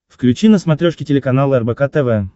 включи на смотрешке телеканал рбк тв